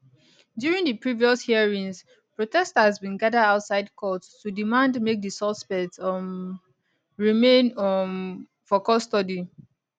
during di previous hearings protesters bin gada outside court to demand make di suspects um remain um for custody